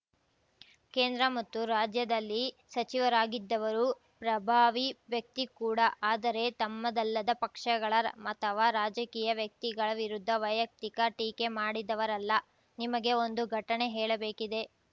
ಕೇಂದ್ರ ಮತ್ತು ರಾಜ್ಯದಲ್ಲಿ ಸಚಿವರಾಗಿದ್ದವರು ಪ್ರಭಾವಿ ವ್ಯಕ್ತಿ ಕೂಡ ಆದರೆ ತಮ್ಮದಲ್ಲದ ಪಕ್ಷಗಳ ರ ಅಥವಾ ರಾಜಕೀಯ ವ್ಯಕ್ತಿಗಳ ವಿರುದ್ಧ ವೈಯಕ್ತಿಕ ಟೀಕೆ ಮಾಡಿದವರಲ್ಲ ನಿಮಗೆ ಒಂದು ಘಟನೆ ಹೇಳಬೇಕಿದೆ